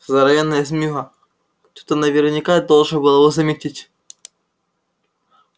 здоровенная змеюга кто-то наверняка должен был его заметить